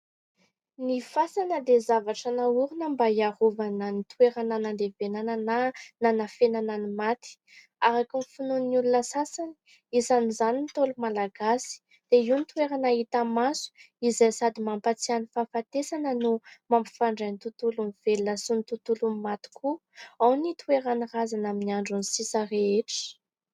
Ny fasana dia zavatra nahorona mba hiarovana ny toerana nandevenana na nanafenana ny maty. Araka ny finoan'ny olona sasany, isan'izany ny Ntaolo Malagasy, dia io no toerana hita maso izay sady mampahatsiahy ny fahafatesana no mampifandray ny tontolon'ny velona sy ny tontolon'ny maty koa, ao no hitoeran'ny razana amin'ny androny sisa rehetra.